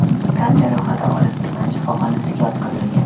tan jarohati olib tuman shifoxonasiga yotqizilgan.